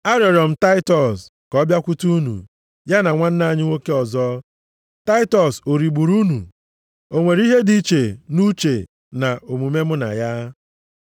Arịọrọ m Taịtọs ka ọ bịakwute unu, ya na nwanna anyị nwoke ọzọ. Taịtọs o rigburu unu? O nwere ihe dị iche nʼuche na omume mụ na ya?